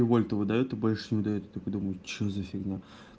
вольт выдаёт больше не даёт и я такой думаю что за фигня